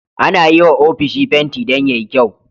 Ana yiwa ofishi fenti Dan yayi kyau